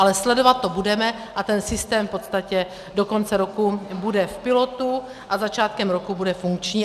Ale sledovat to budeme a ten systém v podstatě do konce roku bude v pilotu a začátkem roku bude funkční.